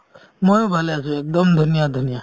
ময়ো ভালে আছো একদম ধুনীয়া ধুনীয়া